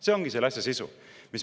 See ongi selle asja sisu.